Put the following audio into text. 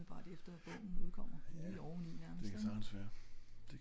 umiddelbart efter bogen udkommer lige oveni nærmest ing?